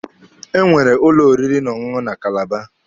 Enwere ụlọ oriri na ọṅụṅụ na Kalaba.